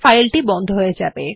file টি বন্ধ হয়ে যাবে